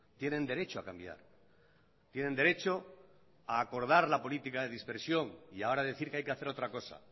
tienen derecho a cambiar tienen derecho a acordar la política de dispersión y ahora a decir que hay que hacer otra cosa